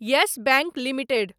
yes Bank limited